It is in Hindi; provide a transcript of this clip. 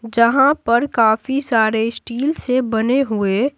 जहां पर काफी सारे स्टील से बने हुए---